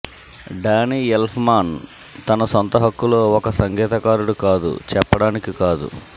Danny Elfman తన సొంత హక్కులో ఒక సంగీతకారుడు కాదు చెప్పడానికి కాదు